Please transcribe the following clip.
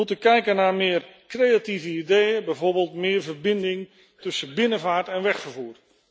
We moeten kijken naar meer creatieve ideeën, bijvoorbeeld meer verbinding tussen binnenvaart en wegvervoer.